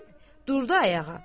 Deyib durdu ayağa.